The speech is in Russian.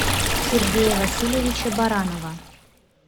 сергея васильевича баранова